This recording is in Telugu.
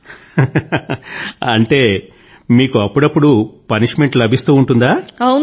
నవ్వుతూ అంటే మీకు అప్పుడప్పుడూ దండనpunishment లభిస్తూ ఉంటుందా